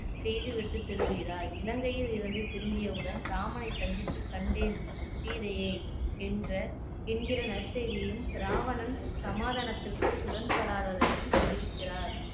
செய்து விட்டு திரும்புகிறார் இலங்கையில் இருந்து திரும்பியவுடன் ராமனை சந்தித்து கண்டேன் சீதையை என்ற என்கிற நற்செய்தியையும் ராவணன் சமாதானத்திற்கு உடன்படாததையும் தெரிவிக்கிறார்